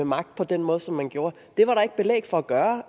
magt på den måde som man gjorde var der ikke belæg for gøre